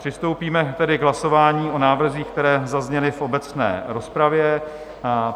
Přistoupíme tedy k hlasování o návrzích, které zazněly v obecné rozpravě.